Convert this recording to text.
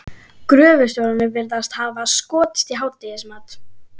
Gröfustjórarnir virðast hafa skotist í hádegismat.